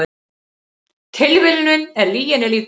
Tilviljunin er lyginni líkust